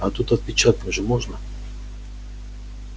а тут отпечатком же можно